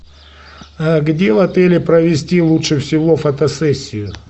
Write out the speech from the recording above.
где в отеле провести лучше всего фотосессию